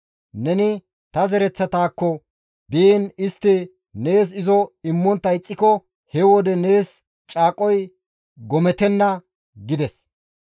Neni ta zaretakko biin istti nees izo immontta ixxiko he wode nees caaqoy gomettenna› gides.